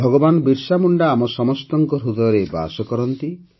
ଭଗବାନ ବିର୍ସାମୁଣ୍ଡା ଆମ ସମସ୍ତଙ୍କ ହୃଦୟରେ ବାସ କରନ୍ତି